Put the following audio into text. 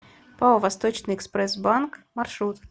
пао восточный экспресс банк маршрут